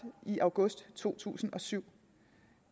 i august to tusind og syv